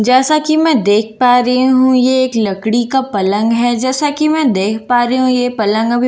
जैसा कि मैं देख पा रही हूं ये एक लकड़ी का पलंग है जैसा कि मैं देख पा रही हूं ये पलंग अभी पूरा तैयार--